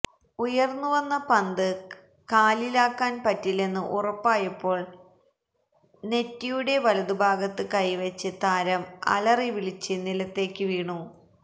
ഉയർന്നുവന്ന പന്ത് കാലിലാക്കാൻ പറ്റില്ലെന്ന് ഉറപ്പായപ്പോൾ നെറ്റിയുടെ വലതുഭാഗത്ത് കൈവച്ച് താരം അലറിവിളിച്ച് നിലത്തേക്ക് വീണു